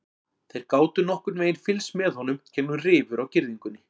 Þeir gátu nokkurn veginn fylgst með honum gegnum rifur á girðingunni.